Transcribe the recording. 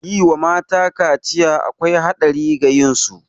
Yi wa mata kaciya akwai haɗari ga lafiyar su